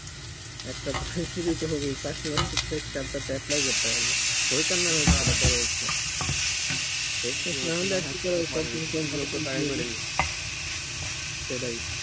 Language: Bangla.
একটা তো দিতে হবেই চাকরি বাকরি পরীক্ষা তে তো apply করতেই হবে হোক আর না হোক সেটা পরের কথা শেষমেশ না হলে আর কি করা যাবে সেটাই